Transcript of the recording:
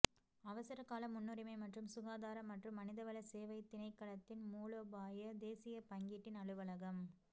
அவசரகால முன்னுரிமை மற்றும் சுகாதார மற்றும் மனிதவள சேவை திணைக்களத்தின் மூலோபாய தேசிய பங்கீட்டின் அலுவலகம்